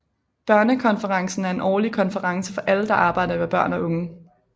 Børnekonferencen er en årlig konference for alle der arbejder med børn og unge